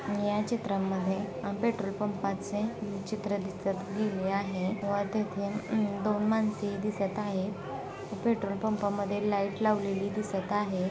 या चित्रा मध्ये दोन मजली बिल्डिंग दिसत आहे. व हे फेंट कलर चे दिसत आहे. व ते च्या साइड ला झाडे ही दिसत आहेत. लाइटीचा खांब ही दिसत आहे.